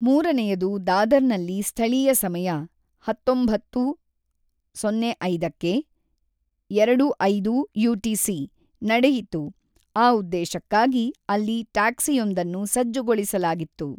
ಮೂರನೆಯದು ದಾದರ್‌ನಲ್ಲಿ ಸ್ಥಳೀಯ ಸಮಯ ಹತೊಂಬತ್ತು:ಸೊನ್ನೆ ಐದಕ್ಕೆ (ಎರಡು:ಐದು ಯುಟಿಸಿ) ನಡೆಯಿತು, ಆ ಉದ್ದೇಶಕ್ಕಾಗಿ ಅಲ್ಲಿ ಟ್ಯಾಕ್ಸಿಯೊಂದನ್ನು ಸಜ್ಜುಗೊಳಿಸಲಾಗಿತ್ತು.